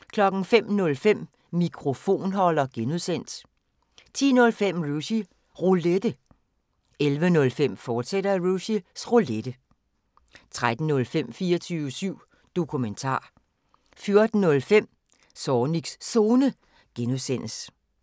05:05: Mikrofonholder (G) 10:05: Rushys Roulette 11:05: Rushys Roulette, fortsat 13:05: 24syv Dokumentar 14:05: Zornigs Zone (G)